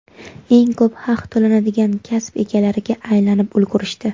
eng ko‘p haq to‘lanadigan kasb egalariga aylanib ulgurishdi .